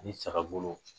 Ani saga bolo